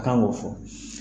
kan k'o fɔ